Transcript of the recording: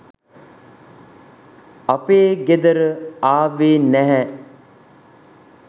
අපේ ගෙදර ආවෙ නැහැ.